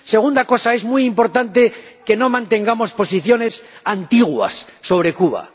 Segunda cosa es muy importante que no mantengamos posiciones antiguas sobre Cuba.